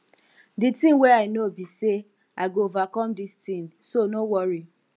the thing wey i know be say i go overcome dis thing so no worry